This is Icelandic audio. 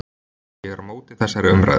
Ég er á móti þessari umræðu.